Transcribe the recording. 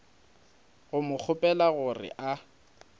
go mo kgopela gore a